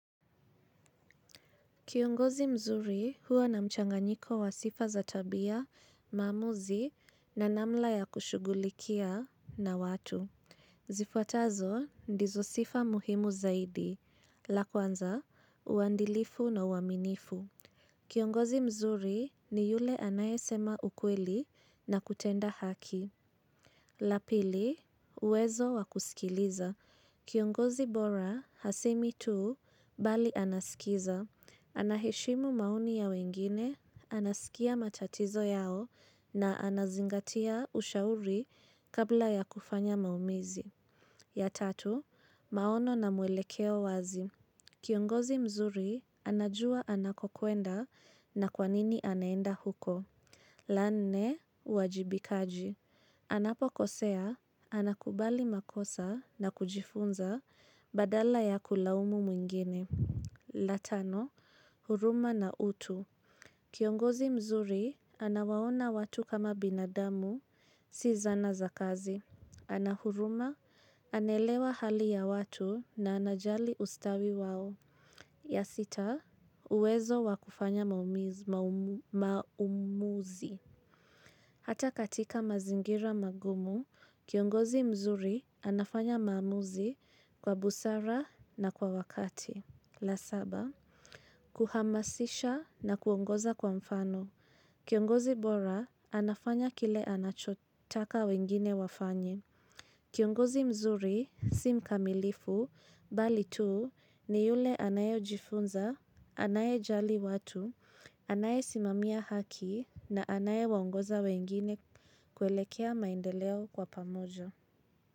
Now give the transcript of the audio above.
Kiongozi mzuri huwa na mchanganyiko wa sifa za tabia, maamuzi na namna ya kushughulikia na watu. Zifuatazo ndizo sifa muhimu zaidi. La kwanza, uadilifu na uaminifu. Kiongozi mzuri ni yule anayesema ukweli na kutenda haki. La pili, uwezo wa kusikiliza. Kiongozi bora, hasemi tu, bali kiza, anaheshimu maoni ya wengine, anasikia matatizo yao na anazingatia ushauri kabla ya kufanya maamuzi. Ya tatu, maono na muelekeo wazi. Kiongozi mzuri anajua anakokwenda na kwanini anaenda huko. La nne, uwajibikaji. Anapokosea, anakubali makosa na kujifunza badala ya kulaumu mwingine. La tano, huruma na utu. Kiongozi mzuri, anawaona watu kama binadamu, si zana za kazi. Ana huruma, anaelewa hali ya watu na anajali ustawi wao. Ya sita, uwezo wa kufanya maamuzi. Hata katika mazingira magumu, kiongozi mzuri anafanya maamuzi kwa busara na kwa wakati. La saba. Kuhamasisha na kuongoza kwa mfano. Kiongozi bora, anafanya kile anachotaka wengine wafanye. Kiongozi mzuri, si mkamilifu, bali tu, ni yule anayejifunza, anayejali watu, anayesimamia haki, na anayewaongoza wengine kuelekea maendeleo kwa pamoja.